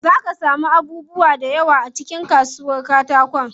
Zaa ka samu abubuwa da yawa a cikin kasuwar katakon.